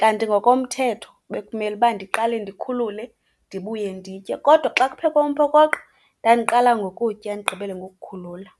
Kanti ngokomthetho bekumeluba ndiqale ndikhulule ndibuye nditye, kodwa xa kuphekwe umphokoqo ndandiqala ngokutya ndigqibele ngokukhulula.